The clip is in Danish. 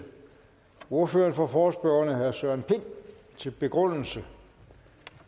ordføreren for forespørgerne herre søren pind til begrundelse